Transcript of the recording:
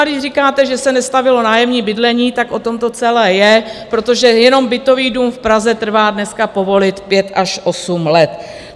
A když říkáte, že se nestavělo nájemní bydlení, tak o tom to celé je, protože jenom bytový dům v Praze trvá dneska povolit pět až osm let.